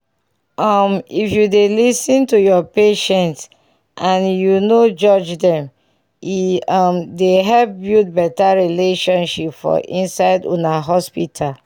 um if u dey lis ten to ur patients and u nor judge dem e um dey help build better relationship for inside una hospital